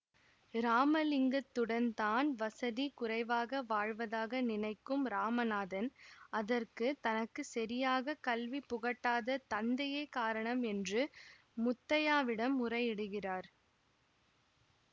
ராமலிங்கத்துடன் தான் வசதி குறைவாக வாழ்வதாக நினைக்கும் ராமனாதன் அதற்கு தனக்கு சரியாக கல்வி புகட்டாத தந்தையே காரணம் என்று முத்தையாவிடம் முறையிடுகிறார்